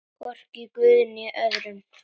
Hvorki guði né öðrum.